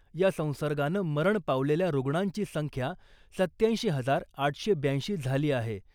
या संसर्गानं मरण पावलेल्या रुग्णांची संख्या सत्त्याऐंशी हजार आठशे ब्याऐंशी झाली आहे .